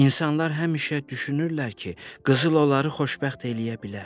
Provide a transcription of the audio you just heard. İnsanlar həmişə düşünürlər ki, qızıl onları xoşbəxt eləyə bilər.